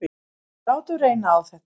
Látum reyna á þetta.